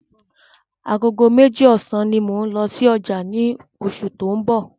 Agogo meji ọ̀sán ní mò n lọ sí ọjà ni oṣù tó ń bọ̀